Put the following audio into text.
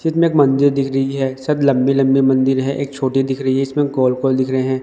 चित्र में एक मंदिर दिख रही है सब लंबी-लंबी मंदिर है एक छोटी दिख रही है इसमें गोल-गोल दिख रहे हैं।